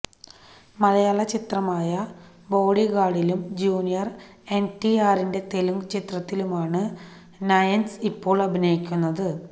മലയാള ചിത്രമായ ബോഡിഗാര്ഡിലും junior N T ആറിന്റെ തെലുങ്ക് ചിത്രത്തിലുമാണ് നയന്സ് ഇപ്പോള് അഭിനയിക്കുന്നത്